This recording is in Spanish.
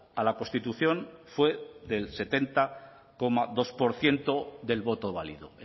a la constitución fue del setenta coma dos por ciento del voto válido